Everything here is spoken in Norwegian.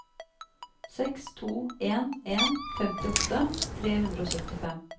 seks to en en femtiåtte tre hundre og syttifem